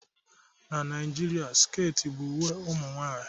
Na Naijiria, sket bụ uwe ụmụ nwanyị